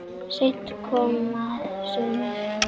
Seint koma sumir.